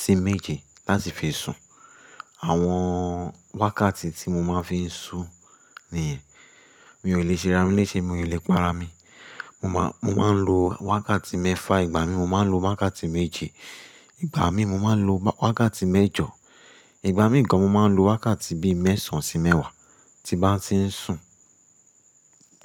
sí méje láti fi sùn. Àwọn wákàtí tí mo máa ń fi ń sùn nìyẹn. Mi ò lè ṣe ra mi lese, mi ò lè para mi. Mo máa, mo máa ń lo wákàtí mẹ́fà, ìgbà mi mo máa ń lo wákàtí méje, ìgbà mí mo máa ń lo wákàtí mẹ́jọ, ìgbà mìí gan mo máa ń lo wákàtí bíi mẹ́sàn án sí mẹ́wàá tí bá ti ń sùn.